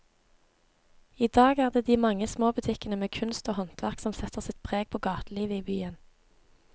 I dag er det de mange små butikkene med kunst og håndverk som setter sitt preg på gatelivet i byen.